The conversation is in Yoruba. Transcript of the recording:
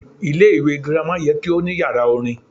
Ilé ìwé girama ye kí ó ní yàrá orin